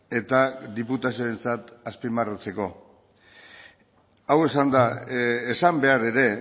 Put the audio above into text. eta diputazioentzat azpimarratzeko hau esanda esan behar ere